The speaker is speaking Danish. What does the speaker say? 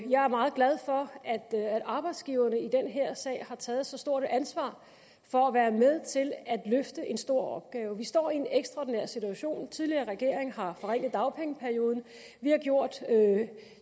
jeg er meget glad for at arbejdsgiverne i den her sag har taget så stort et ansvar for at være med til at løfte en stor opgave vi står i en ekstraordinær situation den tidligere regering har forringet dagpengeperioden og vi har gjort